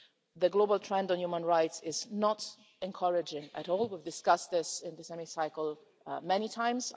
The global trend on human rights is not encouraging at all. We've discussed this in this Hemicycle, many times.